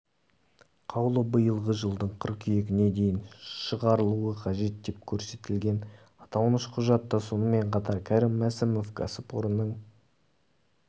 қаулы биылғы жылдың қыркүйегіне дейін шығарылуы қажет деп көрсетілген аталмыш құжатта сонымен қатар кәрім мәсімов кәсіпорынның